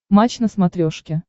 матч на смотрешке